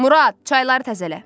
Murad, çayları təzələ.